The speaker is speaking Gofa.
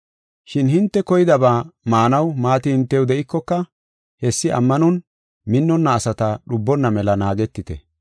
Shin hinte koydaba maanaw maati hintew de7ikoka hessi ammanon minnonna asata dhubonna mela naagetite.